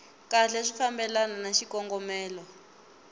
kahle swi fambelana na xikongomelo